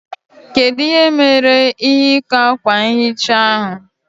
Kedu ihe mere ihe ikwa akwa nhicha ahụ?